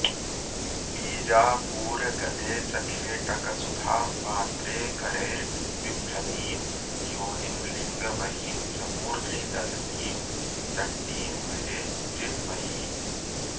बीजापूरगदे च खेटकसुधापात्रे करैर्बिभ्रतीं योनिं लिङ्गमहिं च मूर्ध्नि दधतीं चण्डीं भजे चिन्मयीम्